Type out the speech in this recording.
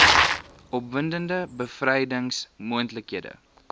opwindende bevrydings moontlikhede